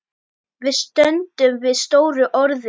Við stöndum við stóru orðin.